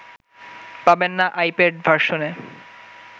পাবেন না আইপ্যাড ভার্সনে